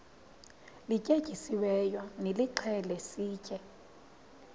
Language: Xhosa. lityetyisiweyo nilixhele sitye